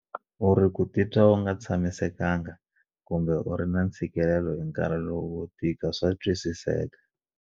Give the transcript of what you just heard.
U ri ku titwa u nga tshamiseka nga kumbe u ri na ntshikelelo hi nkarhi lowu wo tika swa twisiseka.